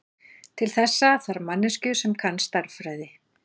Til þessa þarf manneskju sem kann stærðfræði.